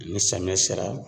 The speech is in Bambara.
Ni samiyɛ sera